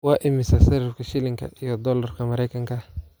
Waa imisa sarifka shilinka iyo doolarka maraykanka?